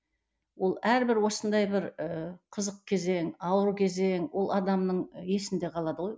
ол әрбір осындай бір ыыы қызық кезең ауыр кезең ол адамның есінде қалады ғой